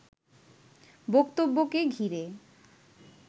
বক্তব্যকে ঘিরে